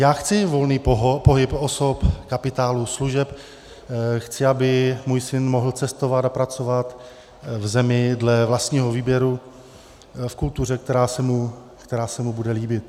Já chci volný pohyb osob, kapitálu, služeb, chci, aby můj syn mohl cestovat a pracovat v zemi dle vlastního výběru, v kultuře, která se mu bude líbit.